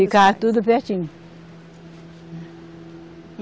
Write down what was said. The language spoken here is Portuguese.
Ficava tudo pertinho.